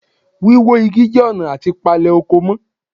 Wíwó Igi jẹ́ ọ̀nà àti palè oko mọ́